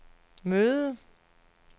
møde